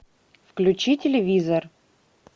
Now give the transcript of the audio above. включи телевизор